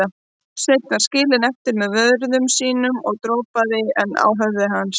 Sveinn var skilinn eftir með vörðum sínum og dropaði enn á höfuð hans.